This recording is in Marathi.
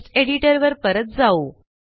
टेक्स्ट एडिटरवर परत जाऊ